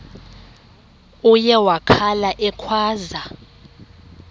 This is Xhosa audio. uye wakhala ekhwaza